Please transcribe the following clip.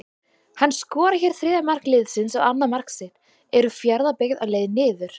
HANN SKORAR HÉR ÞRIÐJA MARK LIÐSINS OG ANNAÐ MARK SITT, ERU FJARÐABYGGÐ Á LEIÐ NIÐUR???